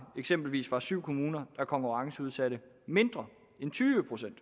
eksempelvis var syv kommuner der konkurrenceudsatte mindre end tyve procent